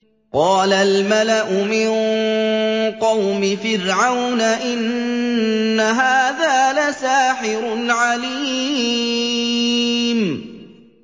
قَالَ الْمَلَأُ مِن قَوْمِ فِرْعَوْنَ إِنَّ هَٰذَا لَسَاحِرٌ عَلِيمٌ